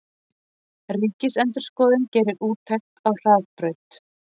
Ríkisendurskoðun gerir úttekt á Hraðbraut